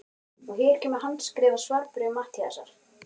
Og hér kemur handskrifað svarbréf Matthíasar